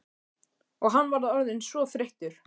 Og hann var orðinn svo þreyttur.